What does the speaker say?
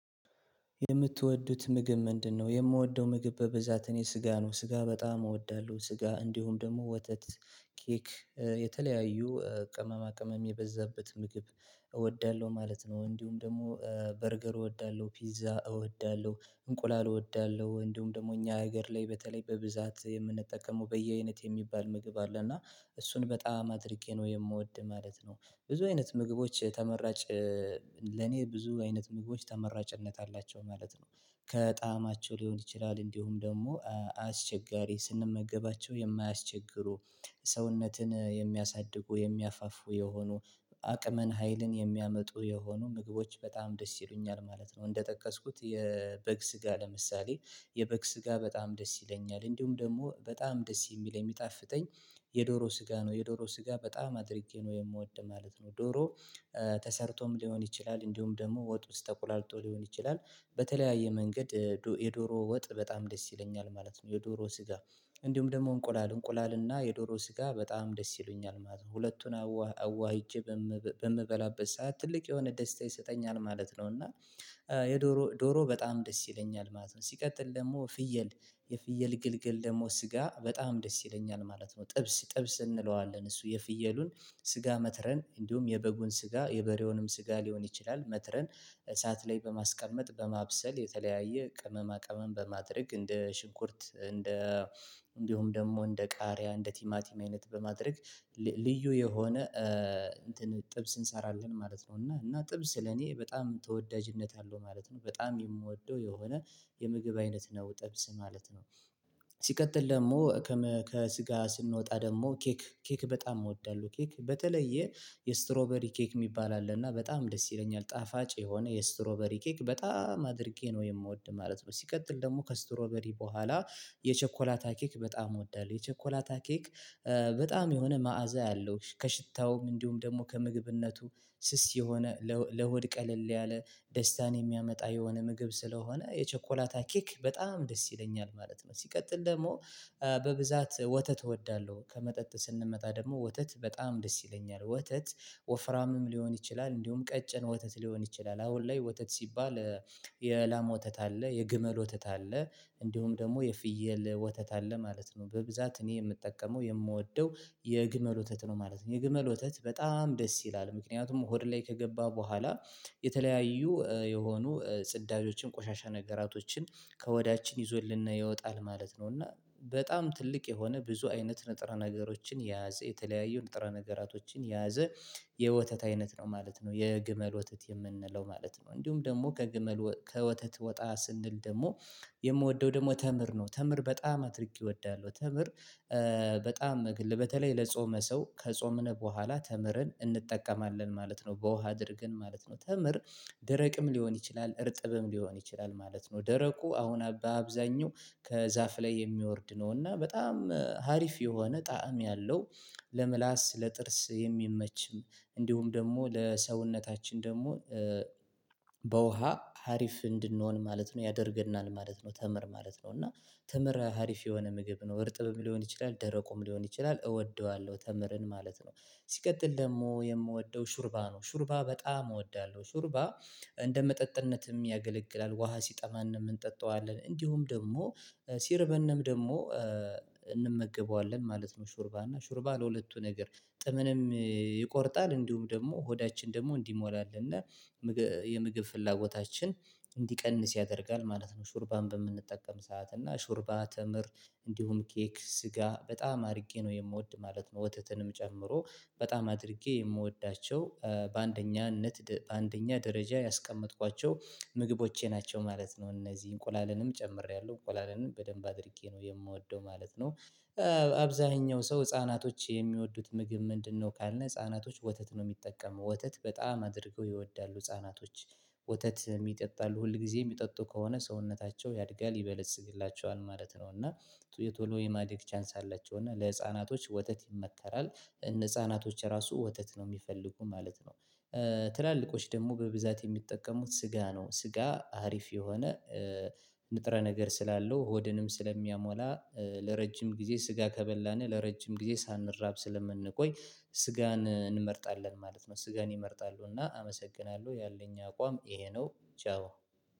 የምትወዱት ምግብ ምንድነው? የምወደው ምግብ በበዛት እኔ ስጋ ነው ስጋ በጣም እወዳለሁ ስጋ እንዲሁም ደግሞ ወተት ኬክ የተለያዩ ቅመማ ቅመም የበዛበት ምግብ እወዳለሁ ማለት ነው። እንዲሁም ደግሞ በርገር እወዳለሁ ፒዛ እወዳለሁ እንቁላል እወዳለሁ እንዲሁም ደግሞ እኛ ሀገር ላይ በተለይ በብዛት የምንጠቀመው በየአይነት የሚባል ምግብ አለ እና እሱን በጣም አድርጌ ነው የምወድ ማለት ነው። ብዙ አይነት ምግቦች ተመራጭ ለኔ ብዙ አይነት ምግቦች ተመራጭነት አላቸው ማለት ነው። ከጣማቸው ሊሆን ይችላል እንዲሁም ደግሞ አስቸጋሪ ስንመገባቸው የማያስቸግሩ ሰውነትን የሚያሳድጉ የሚያፋፉ የሆኑ አቅምን ሀይልን የሚያመጡ የሆኑ ምግቦች በጣም ደስ ይሉኛል ማለት ነው። እንደጠቀስኩት የበግ ስጋ ለምሳሌ የበግ ስጋ በጣም ደስ ይለኛል እንዲሁም ደግሞ በጣም ደስ የሚለኝ የሚጣፍጠኝ የዶሮ ስጋ ነው የዶሮ ስጋ በጣም አድርጌ ነው የምወድ ማለት ነው። ዶሮ ተሰርቶም ሊሆን ይችላል እንዲሁም ደግሞ ወጥ ውስጥ ተቁላልቶ ሊሆን ይችላል በተለያየ መንገድ የዶሮ ወጥ በጣም ደስ ይለኛል ማለት ነው። የዶሮ ስጋ እንዲሁም ደግሞ እንቆላል እንቆላልና የዶሮ ስጋ በጣም ደስ ይሉኛል ማለት ነው ሁለቱን አዋህ አዋህሄጄ በምበላበት ሰዓት ትልቅ የሆነ ደስታ ይሰጠኛል ማለት ነው። እና የዶሮ ዶሮ በጣም ደስ ይለኛል ማለት ነው። ሲቀጥል ደግሞ ፍየል የፍየል ግልገል ደግሞ ስጋ በጣም ደስ ይለኛል ማለት ነው። ጥብስ ጥብስ እንለዋለን እሱ የፍየሉን ስጋ መትረን እንዲሁም የበጉን ስጋ የበሬውንም ስጋ ሊሆን ይችላል መትረን እሳት ላይ በማስቀመጥ በማብሰል የተለያየ ቅመማ ቅመም በማድረግ እንደ ሽንኩርት እንደ እንዲሁም ደግሞ እንደ ቃሪያ እንደ ቲማቲም አይነት በማድረግ ልዩ የሆነ ጥብስ እንሰራለን ማለት ነው። እና እና ጥብስ ለኔ በጣም ተወዳጅነት አለው ማለት ነው በጣም የምወደው የሆነ የምግብ አይነት ነው ጠብስ ማለት ነው። ሲቀጥል ደግሞ ከስጋ ስንወጣ ደግሞ ኬክ ኬክ በጣም እወዳለሁ ኬክ በተለየ የስትሮበሪ ኬክ የሚባል አለ እና በጣም ደስ ይለኛል ጣፋጭ የሆነ የስትሮበሪ ኬክ በጣም አድርጌ ነው የምወድ ማለት ነው። ሲቀጥል ደግሞ ከስትሮበሪ በኋላ የቸኮላታ ኬክ በጣም እወዳለሁ የቸኮላታኬክ በጣም የሆነ መዓዛ ያለው ከሽታውም እንዲሁም ደግሞ ከምግብነቱ ስስ የሆነ ለሆድ ቀለል ያለ ደስታን የሚያመጣ የሆነ ምግብ ስለሆነ የቸኮላታ ኬክ በጣም ደስ ይለኛል ማለት ነው። ሲቀጥል ደግሞ በብዛት ወተት እወዳለሁ ከመጠጥ ስንመጣ ደግሞ ወተት በጣም ደስ ይለኛል ወተት ወፍራምም ሊሆን ይችላል እንዲሁም ቀጭን ወተት ሊሆን ይችላል አሁን ላይ ወተት ሲባል የላማ ወተት አለ የግመል ወተት አለ እንዲሁም ደግሞ የፍየል ወተት አለ ማለት ነው። በብዛት እኔ የምጠቀመው የምወደው የግመል ወተት ነው ማለት ነው የግመል ወተት በጣም ደስ ይላል ምክንያቱም ሆድ ላይ ከገባ በኋላ የተለያዩ የሆኑ ጽዳጆችን ቆሻሻ ነገራቶችን ከሆዳችን ይዞልን ይወጣል ማለት ነው። እና በጣም ትልቅ የሆነ ብዙ አይነት ንጥራ ነገሮችን የያዘ የተለያዩ ንጥራ ነገራቶችን የያዘ የወተት አይነት ነው ማለት ነው የግመል ወተት የምንለው ማለት ነው። እንዲሁም ደግሞ ከግመል ከወተት ወጣ ስንል ደግሞ የምወደው ደግሞ ተምር ነው ተምር በጣም አድርጌ እወዳለሁ ተምር በጣም ግል በተለይ ለጾመ ሰው ከጾምን በኋላ ተምረን እንጠቀማለን ማለት ነው በውሃ አድርገን ማለት ነው። ተምር ደረቅም ሊሆን ይችላል እርጥብም ሊሆን ይችላል ማለት ነው ደረቁ አሁን በአብዛኛው ከዛፍ ላይ የሚወርድ ነው እና በጣም ሀሪፍ የሆነ ጣዕም ያለው ለምላስ ለጥርስ የሚመችም እንዲሁም ደግሞ ለሰውነታችን ደግሞ ሀሪፍ እንድንሆን ማለት ነው ያደርገናል ማለት ነው። ተምር ማለት ነው እና ተምረ ሀሪፍ የሆነ ምግብ ነው እርጥብም ሊሆን ይችላል ደረቁም ሊሆን ይችላል እወደዋለሁ ተምረን ማለት ነው። ሲቀጥል ደግሞ የምወደው ሹርባ ነው ሹርባ በጣም እወዳለሁ ሹርባ እንደ መጠጥነትም ያገለግላል ውሃ ሲጠማን ነው የምንጠጣው አለን እንዲሁም ደግሞ ሲርበንም ደግሞ እንመገበዋለን ማለት ነው። ሹርባ እና ሹርባ ለሁለቱ ነገር ጥምንም ይቆርጣል እንዲሁም ደግሞ ሆዳችን ደግሞ እንዲሞላልን የምግብ ፍላጎታችን እንዲቀንስ ያደርጋል ማለት ነው። ሹርባን በምንጠቀም ሰዓት እና ሹርባ ተምር እንዲሁም ኬክ ስጋ በጣም አድርጌ ነው የምወድ ማለት ነው። ወተትንም ጨምሮ በጣም አድርጌ የምወዳቸው በአንደኛነት አንደኛ ደረጃ ያስቀመጥኳቸው ምግቦቼ ናቸው ማለት ነው። እነዚህ እንቁላልንም ጨምሬያለሁ እንቁላለንም በደንብ አድርጌ ነው የምወደው ማለት ነው ሰው ህፃናቶች የሚወዱት ምግብ ምንድነው? ካልን ህፃናቶች ወተት ነው የሚጠቀመው ወተት በጣም አድርገው ይወዳሉ እፃናቶች ወተት ይጠጣሉ ሁል ጊዜ የሚጠጡ ከሆነ ሰውነታቸው ያድጋል ይበልጽግላቸዋል ማለት ነው። እና የቶሎ የማደግ ቻንስ አለችው እና ለህፃናቶች ወተት ይመከራል። ነፃናቶች ራሱ ወተት ነው የሚፈልጉ ማለት ነው። ትላልቆች ደግሞ በብዛት የሚጠቀሙት ስጋ ነው ስጋ አሪፍ የሆነ ንጥረ ነገር ስላለው ሆድንም ስለሚያሞላ ለረጅም ጊዜ ስጋ ከበላን ለረጅም ጊዜ ሳንራብ ስለምንቆይ ስጋን እንመርጣለን ማለት ነው። ስጋን ይመርጣሉና አመሰግናለሁ ያለኝ አቋም ይሄ ነው። ቻው